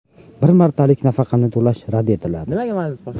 bir martalik nafaqani to‘lash rad etiladi).